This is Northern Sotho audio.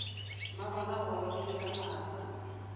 mmabona o gorogile ka masa